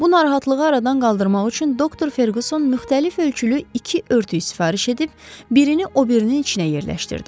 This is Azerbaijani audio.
Bu narahatlığı aradan qaldırmaq üçün doktor Ferqüsson müxtəlif ölçülü iki örtük sifariş edib birini o birinin içinə yerləşdirdi.